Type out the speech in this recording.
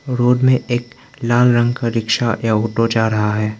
Road में एक लाल रंग का रिक्शा या ऑटो जा रहा है।